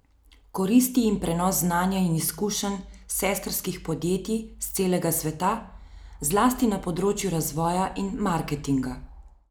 Koristi jim prenos znanja in izkušenj sestrskih podjetij s celega sveta, zlasti na področju razvoja in marketinga.